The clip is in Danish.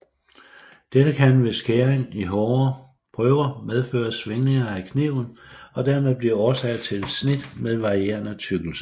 Dette kan ved skæring i hårde prøver medføre svingninger af kniven og dermed blive årsag til snit med varierende tykkelse